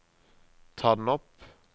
ta den opp